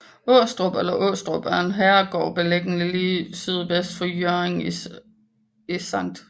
Åstrup eller Aastrup er en herregård beliggende lige sydvest for Hjørring i Skt